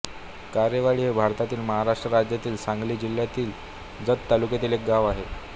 कारेवाडी हे भारतातील महाराष्ट्र राज्यातील सांगली जिल्ह्यातील जत तालुक्यातील एक गाव आहे